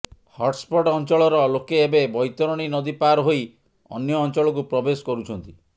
hotspot ଅଞ୍ଚଳର ଲୋକେ ଏବେ ବୈତରଣୀ ନଦୀପାର ହୋଇ ଅନ୍ୟ ଅଞ୍ଚଳକୁ ପ୍ରବେଶ କରୁଛନ୍ତି